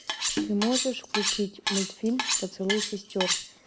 ты можешь включить мультфильм поцелуй сестер